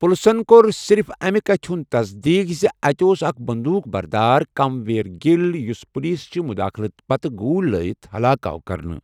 پُلسن کوٚر صِرِف اَمہِ کَتھِ ہُنٛد تصدیٖق زِ اَتہِ اوس اَکھ بٔنٛدوٗق بردار، کِم ویٖر گِل، یُس پُلیٖس چہِ مُداخلت پتہٕ گوٗلۍ لٲیِتھ ہَلاک آو کرنہٕ۔